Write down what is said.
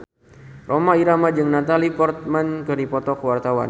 Rhoma Irama jeung Natalie Portman keur dipoto ku wartawan